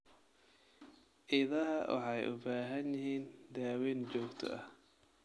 Idaha waxay u baahan yihiin daaweyn joogto ah.